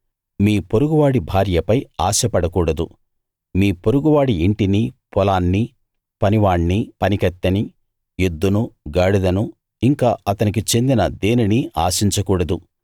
మీ పొరుగువాడి భార్యపై ఆశపడకూడదు మీ పొరుగువాడి ఇంటిని పొలాన్ని పనివాణ్ణి పనికత్తెని ఎద్దును గాడిదను ఇంకా అతనికి చెందిన దేనినీ ఆశించకూడదు